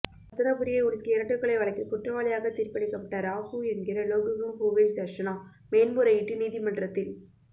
இரத்தினபுரியை உலுக்கிய இரட்டைக்கொலை வழக்கில் குற்றவாளியாக தீர்ப்பளிக்கப்பட்ட ராஹூ என்கின்ற லோகுகம்ஹுவேஜ் தர்ஷனா மேன்முறையீட்டு நீதிமன்றத்தில்